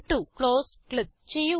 close click ചെയ്യുക